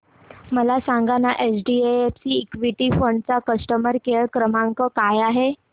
मला सांगाना HDFC equity fund चा कस्टमर केअर क्रमांक काय आहे